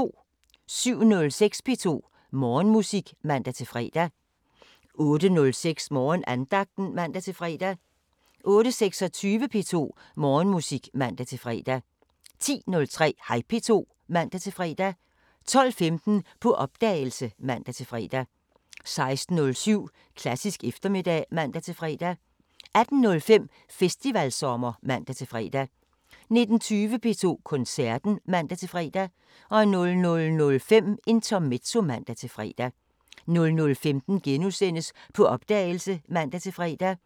07:06: P2 Morgenmusik (man-fre) 08:06: Morgenandagten (man-fre) 08:26: P2 Morgenmusik (man-fre) 10:03: Hej P2 (man-fre) 12:15: På opdagelse (man-fre) 16:07: Klassisk eftermiddag (man-fre) 18:05: Festivalsommer (man-fre) 19:20: P2 Koncerten (man-fre) 00:05: Intermezzo (man-fre) 00:15: På opdagelse *(man-fre)